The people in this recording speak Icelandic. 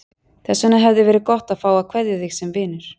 Þess vegna hefði verið gott að fá að kveðja þig sem vinur.